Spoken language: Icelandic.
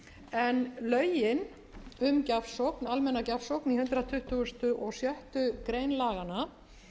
en lögin um almenna gjafsókn í hundrað tuttugasta og sjöttu grein laganna